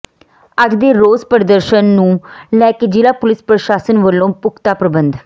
ਅੱਜ ਦੇ ਰੋਸ ਪ੍ਰਦਰਸ਼ਨ ਨੂੰ ਲੈ ਕੇ ਜ਼ਿਲ੍ਹਾ ਪੁਲਿਸ ਪ੍ਰਸ਼ਾਸਨ ਵਲੋਂ ਪੁਖ਼ਤਾ ਪ੍ਰਬੰਧ